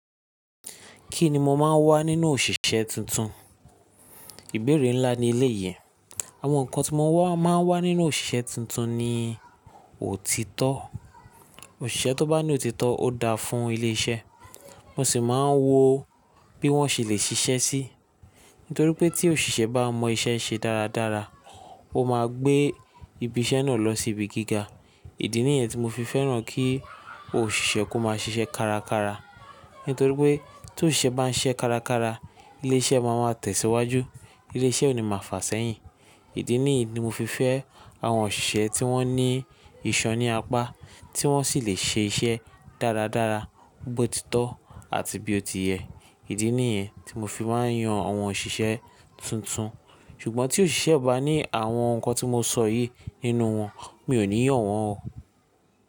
Kí ni mo máa ń wá nínú òṣìṣẹ́ tuntun? Ìbéèrè ńlá ni eléyìí Àwọn nǹkan tí mo máa ń wá nínú òṣìṣẹ́ tuntun ni òtítọ́. Òṣìṣẹ́ tó bá ní òtítọ́ ó dáa fún ilé iṣẹ́, mo sì máa ń wo bí wọ́n ṣe lè ṣiṣẹ́ sí i. Nítorí pé tí òṣìṣẹ́ bá mọ iṣẹ́ ṣe dáradára, ó máa gbé ibi iṣẹ́ náà lọ sí ibi gíga. Ìdí nìyẹn tí mo fi fẹ́ràn kí òṣìṣẹ́ kó máa ṣiṣẹ́ kárakára. Nítorí pé tí òṣìṣẹ́ bá ń ṣiṣẹ́ kárakára, ilé iṣẹ́ máa wá tẹ̀síwájú, ilé iṣẹ́ ò ní máa fàsẹ́ yìí. Ìdí nìyí ni mo fi fẹ́ àwọn òṣìṣẹ́ tí wọ́n ní ìṣan níapá, tí wọ́n sì lè ṣe iṣẹ́ dáradára, bó ti tọ́ àti bí o ti yẹ. Ìdí nìyẹn tí mo fi máa ń yan àwọn òṣìṣẹ́ tuntun. Ṣùgbọ́n tí òṣìṣẹ́ bá ní àwọn nǹkan tí mo sọ yìí nínú wọn, mi ò ní yàn wọ́n o.